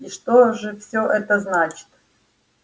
и что же всё это значит